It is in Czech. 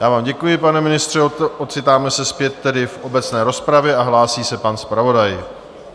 Já vám děkuji, pane ministře, ocitáme se zpět tedy v obecné rozpravě a hlásí se pan zpravodaj.